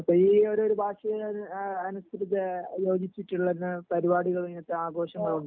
അപ്പൊ ഈ ഒരു ഭാഷീം അനുസരിച് യോജിച്ചിട്ടുള്ളതിനാൽ പരിപാടികൾ ആഘോഷങ്ങൾ ണ്ടാവും ലെ